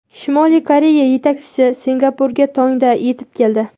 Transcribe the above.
Shimoliy Koreya yetakchisi Singapurga tongda yetib keldi.